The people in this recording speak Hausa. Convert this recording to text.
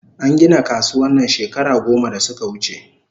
An gina kasuwan nan shekara goma da suka wuche